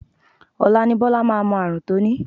Ọ̀la ni Bọ́lá máa mọ ààrùn tó ní